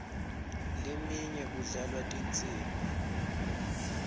leminye kudlalwa tinsimbi